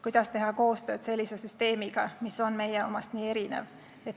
Kuidas teha koostööd sellise süsteemiga, mis on meie omast nii erinev?